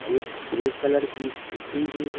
एक grey colour की scooty भी--